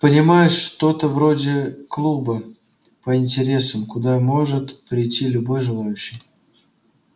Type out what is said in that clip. понимаешь что-то вроде клуба по интересам куда может прийти любой желающий